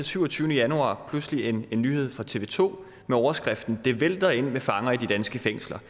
syvogtyvende januar pludselig læste en nyhed fra tv to med overskriften det vælter ind med fanger i de danske fængsler